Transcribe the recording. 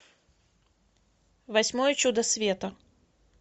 восьмое чудо света